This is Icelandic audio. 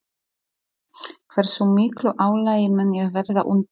Hversu miklu álagi mun ég verða undir?